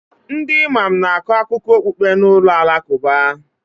Ndị Imam na-akọ akụkọ okpukpe na ụlọ alakụba